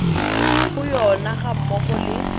go yona ga mmogo le